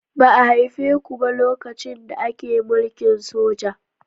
Ba a haife ku ba lokacin da ake mulkin soja.